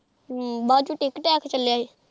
ਹਮ ਬਾਅਦ ਚ tiktok tak ਚੱਲਿਆ ਹੀ।